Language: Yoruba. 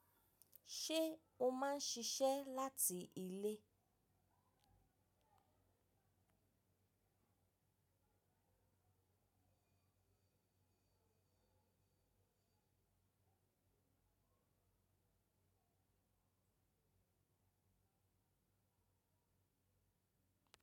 Ṣé o máa ń ṣiṣẹ́ láti ilé?